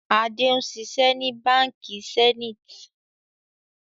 Adé ń ṣiṣẹ́ ni Báńkì Zenith.